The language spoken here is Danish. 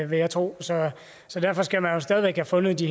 vil jeg tro så derfor skal man jo stadig væk have fundet de